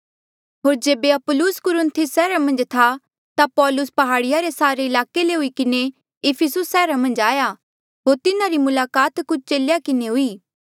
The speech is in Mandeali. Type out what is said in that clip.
होर जेबे अपुल्लोस कुरिन्थुस सैहरा मन्झ था ता पौलुस प्हाड़िया रे सारे ईलाके ले हुई किन्हें इफिसुस सैहरा मन्झ आया होर तिन्हारी मुलाकात कुछ चेलेया किन्हें हुई